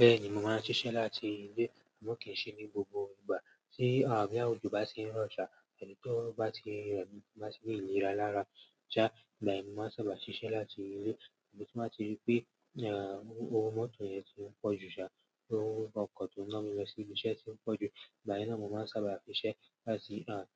Bẹ́ẹ̀ni, mo máa ń ṣiṣẹ́ láti ilé, àmọ́ kì í ṣe ní gbogbo ìgbà. Tí àh, boya òjò bá ṣe n rọ̀ sá, tàbí tí ó bá ti rẹmi, ti n bá ti ní ìlera lára, sá, ìgbàyẹn mo máa sábà ṣiṣẹ́ láti ilé. Tí mo bá ti rí pé, eeh, owó mọ́tò yẹn ti ń pọ̀jù sá, owó ọkọ̀ tó ńa mi lọ sí ibi iṣẹ́ ti ń pọ̀jù, ìgbà yẹn ni mo máa sábà siṣẹ́ láti, eeh,